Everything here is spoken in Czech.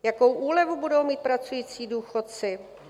Jakou úlevu budou mít pracující důchodci?